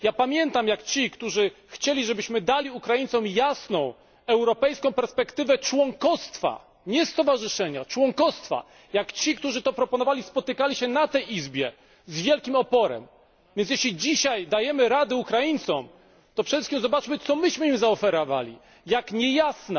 Ja pamiętam, jak ci, którzy chcieli, żebyśmy dali Ukraińcom jasną europejską perspektywę członkostwa nie stowarzyszenia, ale członkostwa jak ci, którzy to proponowali, spotykali się na tej izbie z wielkim oporem, więc jeśli dzisiaj dajemy rady Ukraińcom, to przede wszystkim zobaczmy, co my im zaoferowaliśmy, jak niejasna